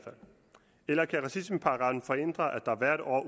eller kan racismeparagraffen forhindre at der hvert år